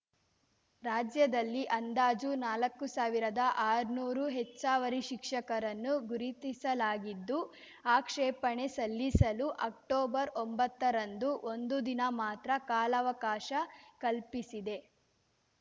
ರಾಜ್ಯದಲ್ಲಿ ಅಂದಾಜು ನಾಲಕ್ಕು ಸಾವಿರದಆರ್ನೂರು ಹೆಚ್ಚವರಿ ಶಿಕ್ಷಕರನ್ನು ಗುರುತಿಸಲಾಗಿದ್ದು ಆಕ್ಷೇಪಣೆ ಸಲ್ಲಿಸಲು ಅಕ್ಟೊಬರ್ಒಂಬತ್ತರಂದು ಒಂದು ದಿನ ಮಾತ್ರ ಕಾಲಾವಕಾಶ ಕಲ್ಪಿಸಿದೆ